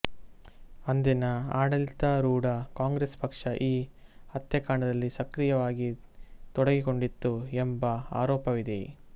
ಅಂದಿನ ಆಡಳಿತಾರೂಢ ಕಾಂಗ್ರೆಸ್ ಪಕ್ಷ ಈ ಹತ್ಯಾಕಾಂಡದಲ್ಲಿ ಸಕ್ರಿಯವಾಗಿ ತೊಡಗಿಕೊಂಡಿತ್ತು ಎಂಬ ಆರೋಪವಿದೆ